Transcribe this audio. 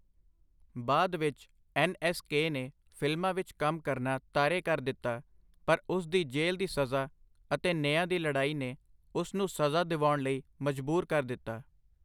ਬਾਅਦ ਵਿੱਚ, ਐੱਨ.ਐੱਸ.ਕੇ. ਨੇ ਫ਼ਿਲਮਾਂ ਵਿੱਚ ਕੰਮ ਕਰਨਾ ਤਾਰੇ ਕਰ ਦਿੱਤਾ, ਪਰ ਉਸ ਦੀ ਜੇਲ੍ਹ ਦੀ ਸਜ਼ਾ ਅਤੇ ਨਿਆਂ ਲਈ ਲੜਾਈ ਨੇ ਉਸ ਨੂੰ ਸਜ਼ਾ ਦਿਵਾਉਣ ਲਈ ਮਜਬੂਰ ਕਰ ਦਿੱਤਾ।